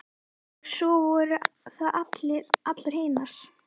Og svo voru það allar hinar.